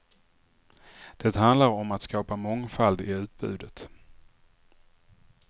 Det handlar om att skapa mångfald i utbudet.